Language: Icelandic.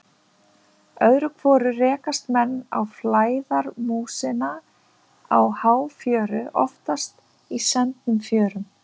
Öðru hvoru rekast menn á flæðarmúsina á háfjöru, oftast í sendnum fjörum.